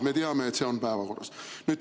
Me teame, et see on päevakorral.